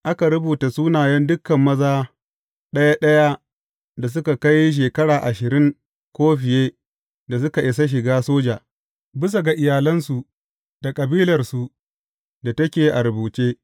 Aka rubuta sunayen dukan maza ɗaya ɗaya da suka kai shekara ashirin ko fiye da suka isa shiga soja, bisa ga iyalansu da kabilarsu da take a rubuce.